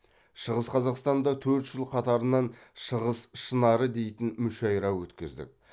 шығыс қазақстанда төрт жыл қатарынан шығыс шынары дейтін мүшайра өткіздік